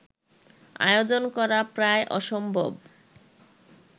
আয়োজন করা প্রায় অসম্ভব